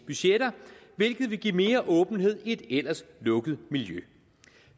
budgetter hvilket vil give mere åbenhed i et ellers lukket miljø